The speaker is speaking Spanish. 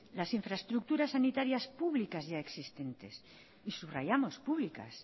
las infraestructuras sanitarias públicas ya existentes y subrayamos públicas